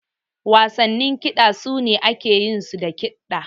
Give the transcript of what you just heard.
Wasannin kiɗa su ne ake yin su da kiɗa.